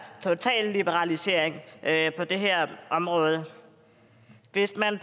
totale liberalisering af det her område hvis man